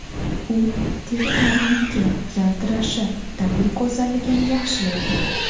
U teri tarangligi, yaltirashi, tabiiy go‘zalligini yaxshilaydi.